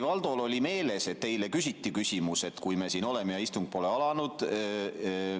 Valdol oli meeles, et eile küsiti küsimus, et kui me siin oleme ja istung pole alanud.